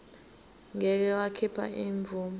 ngeke wakhipha imvume